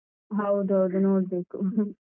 ಹೌದೌದು ನೋಡ್ಬೇಕು.